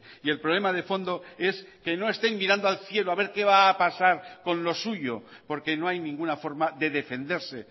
y el problema de fondo es que no estén mirando al cielo a ver qué va a pasar con lo suyo porque no hay ninguna forma de defenderse